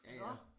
Ja ja